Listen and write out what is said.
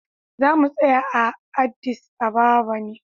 Za mu tsaya a Addis Ababa ne.